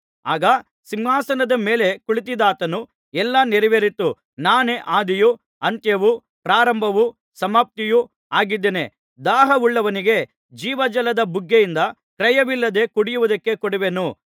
ಆಗ ಸಿಂಹಾಸನದ ಮೇಲೆ ಕುಳಿತಿದ್ದಾತನು ಎಲ್ಲಾ ನೆರವೇರಿತು ನಾನೇ ಆದಿಯು ಅಂತ್ಯವೂ ಪ್ರಾರಂಭವೂ ಸಮಾಪ್ತಿಯೂ ಆಗಿದ್ದೇನೆ ದಾಹವುಳ್ಳವನಿಗೆ ಜೀವಜಲದ ಬುಗ್ಗೆಯಿಂದ ಕ್ರಯವಿಲ್ಲದೆ ಕುಡಿಯುವುದಕ್ಕೆ ಕೊಡುವೆನು